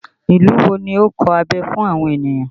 Ìlú wo ni ó ń kọ abẹ fún àwọn ènìyàn?